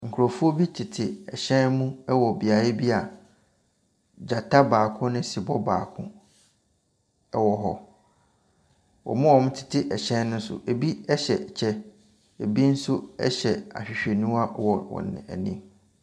Nkurɔfoɔ bi tete hyɛn mu wɔ beaeɛ bi a gyata baako ne sebɔ baako wɔ hɔ. wɔn a wɔtete hyɛn ne nso, bi hyehyɛ kyɛ, bi nso hyɛ ahwehwɛniwa wɔ wɔn ani.